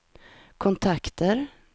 kontakter